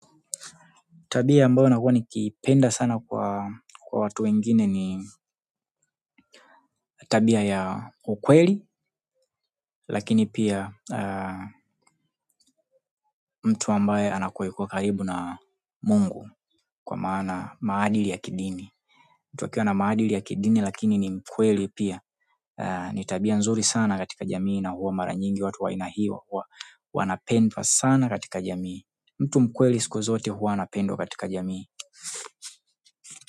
Tabia ambayo huwa nikiipenda sana kwa watu wengine ni tabia ya ukweli, lakini pia mtu ambaye anakuwa yuko karibu na Mungu kwa maana maadili ya kidini. Mtu akiwa na maadili ya kidini lakini akuwe mkweli pia ni tabia nzuri sana katika jamii na huwa mara nyingi watu wa aina hiyo huwa wanapendwa sana katika jamii. Mtu mkweli siku zote huwa anapendwa katika jamii.